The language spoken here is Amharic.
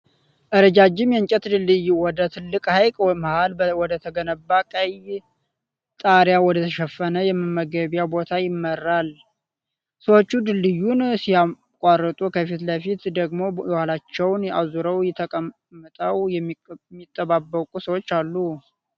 ረዣዥም የእንጨት ድልድይ ወደ ትልቁ ሀይቅ መሀል ወደተገነባ ቀይ ጣሪያ ወደተሸፈነ የመመገቢያ ቦታ ይመራል። ሰዎች ድልድዩን ሲያቋርጡ፣ ከፊት ለፊት ደግሞ የኋላቸዉን አዙረዉ ተቀምጠዉ የሚጠባበቁ ሰዎች አሉ።